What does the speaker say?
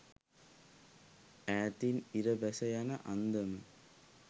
ඈතින් ඉර බැස යන අන්දම